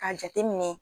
K'a jate minɛ